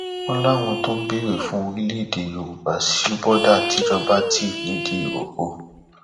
wọn láwọn tó ń béèrè fún orílẹèdè yorùbá sí bọdà tìjọba ti nìdírókò